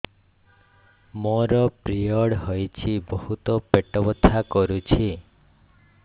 ମୋର ପିରିଅଡ଼ ହୋଇଛି ବହୁତ ପେଟ ବଥା କରୁଛି